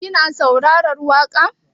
Kina saurarar waƙa?